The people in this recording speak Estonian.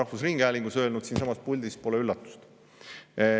Olen seda öelnud rahvusringhäälingus, siinsamas puldis – see pole üllatus.